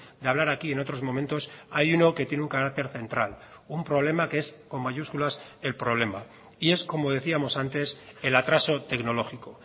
de hablar aquí en otros momentos hay uno que tiene un carácter central un problema que es con mayúsculas el problema y es como decíamos antes el atraso tecnológico